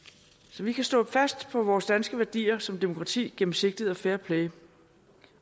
så vi kan stå fast på vores danske værdier som demokrati gennemsigtighed og fairplay